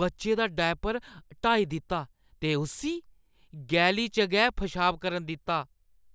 बच्चे दा डायपर हटाई दित्ता ते उस्सी गैली च गै पशाब करन दित्ता